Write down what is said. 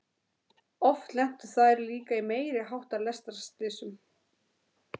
Oft lentu þær líka í meiri háttar lestarslysum.